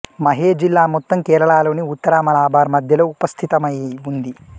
మాహే జిల్లా మొత్తం కేరళ లోని ఉత్తర మలబార్ మద్యలో ఉపస్థితమై ఉంది